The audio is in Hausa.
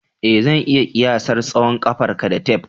Ee, zan iya kiyasar tsawon ƙafarka da tef